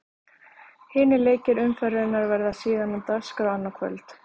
Hinir leikir umferðarinnar verða síðan á dagskrá annað kvöld.